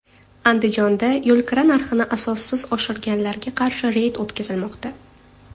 Andijonda yo‘lkira narxini asossiz oshirganlarga qarshi reyd o‘tkazilmoqda.